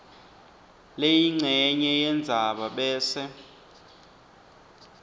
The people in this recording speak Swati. leyincenye yendzaba bese